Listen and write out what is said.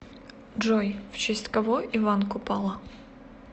джой в честь кого иван купала